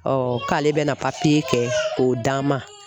k'ale bɛna kɛ k'o d'an ma.